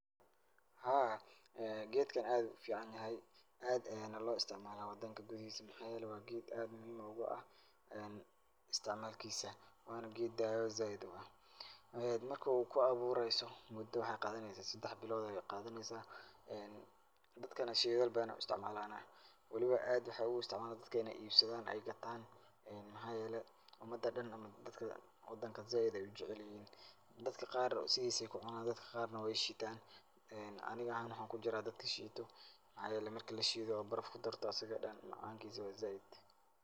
Haa keetgan aad uficanyahay, aad Aya lo isticmalah wadanga kuthahisa waxyelahay wa geet muhim ugu aah, isticmalkisa Wana keet dawa saait uah marka oo ku abureysoh, muda waxaqatheneysah sedax bilotha Aya Qathaeneysah, dadkathana syethal bathan Aya u isticmalnah, waliba aad waxay ugu isticmalanaha, dadka inay ibsathan ay kathan ee waxaye umada u dahn saait Aya u jaceelyahin, dadka Qaar sethisa Aya kununan, dadka Qaar wayshetaan, Anika ahan waxakujiroh dadka sheetoh waxyealay marki la sheetoh baraf kudartoh asaga oo dhan macankisa wa saait.